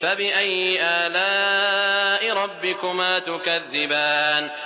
فَبِأَيِّ آلَاءِ رَبِّكُمَا تُكَذِّبَانِ